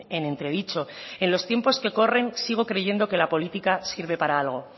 en entredicho en los tiempos que corren sigo creyendo que la política sirve para algo